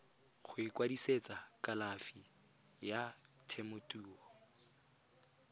go ikwadisetsa kalafi ya temothuo